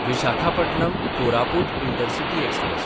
Visakhapatnam-Koraput intercity express